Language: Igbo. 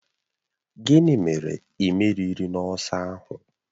Gịnị mere ị merighi n'ọsọ ahụ?